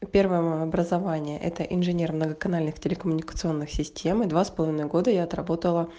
первое образование это инженер многоканальных телекоммуникационных систем и два с половиной года я отработала